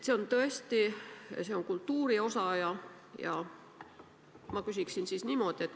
See on tõesti kultuuri osa.